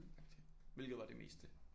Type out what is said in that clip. Agtig. Hvilket var det meste